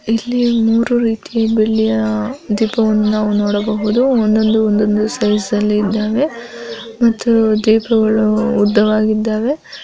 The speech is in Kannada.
ಇಲ್ಲಿ ಮೂರು ರೀತಿಯ ಬೆಳ್ಳಿಯ ಒಂದು ದೀಪವನ್ನು ನಾವು ನೋಡಬಹುದು ಒಂದೊಂದು ಸೈಜಲ್ಲಿ ಇದ್ದಾವೆ ಮತ್ತು ದೀಪಗಳು ಉದ್ದವಾಗಿದ್ದಾವೆ.